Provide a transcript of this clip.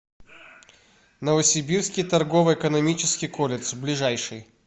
новосибирский торгово экономический колледж ближайший